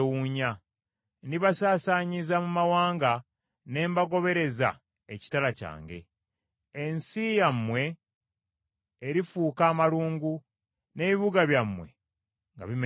Ndibasaasaanyiza mu mawanga ne mbagobereza ekitala kyange. Ensi yammwe erifuuka amalungu n’ebibuga byammwe nga bimenyeddwa.